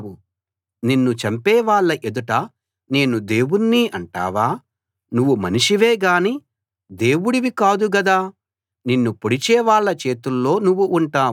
నిన్ను చంపేవాళ్ళ ఎదుట నేను దేవుణ్ణి అంటావా నువ్వు మనిషివే గానీ దేవుడివి కాదు గదా నిన్ను పొడిచేవాళ్ళ చేతుల్లో నువ్వు ఉంటావు